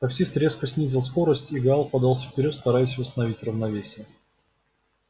таксист резко снизил скорость и гаал подался вперёд стараясь восстановить равновесие